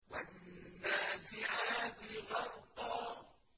وَالنَّازِعَاتِ غَرْقًا